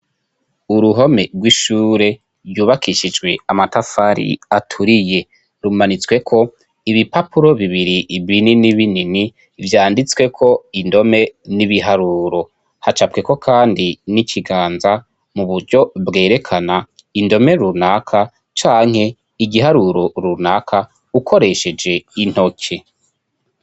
Uruhome rw'ishure ryubakishijwe amatafari aturiye rumanitsweko ibipapuro bibiri ibinini binini vyanditsweko indome n'ibiharuro hacabweko, kandi n'ikiganza mu buryo bwerekana indome runaka canke igiharuro urunaka ukoresheje intoke.